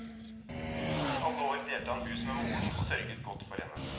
I alle år delte han hus med moren og sørget godt for henne.